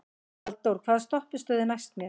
Hallþór, hvaða stoppistöð er næst mér?